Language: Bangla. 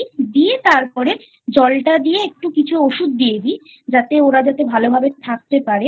দিয়ে তারপরে জলটা দিয়ে একটু কিছু ওষুধ দিয়ে দি ওরা যাতে ভালো ভাবে থাকতে পারে